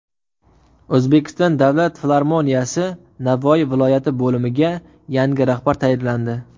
O‘zbekiston davlat filarmoniyasi Navoiy viloyati bo‘limiga yangi rahbar tayinlandi.